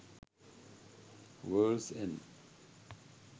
worlds end